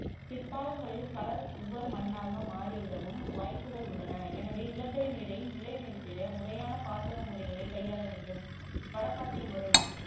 பிற்காலங்களில் களர் உவர் மண்ணாக மாறிவிடவும் வாய்ப்புகள் உள்ளன எனவே நிலத்தடிநீரை நிலை நிறுத்திட முறையான பாசன முறைகளைக் கையாள வேண்டும் வடப்பாத்தி முறை